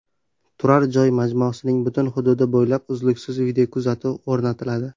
Turar joy majmuasining butun hududi bo‘ylab uzluksiz videokuzatuv o‘rnatiladi.